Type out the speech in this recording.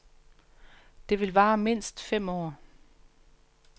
Det vil vare mindst fem år.